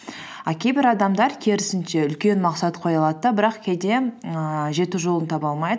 а кейбір адамдар керісінше үлкен мақсат қоя алады да бірақ кейде ііі жету жолын таба алмайды